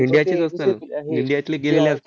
इंडियाची इंडियातले गेलेले असती